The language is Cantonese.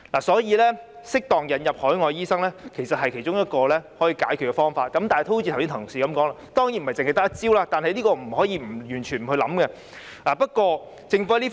適當引入海外醫生其實是其中一個解決方法，而正如剛才有同事說，當然不是只用這一招數，但也不能完全不考慮這方法。